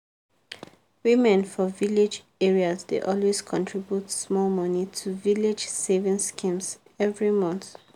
women for village areas dey always contribute small money to village savings schemes every month.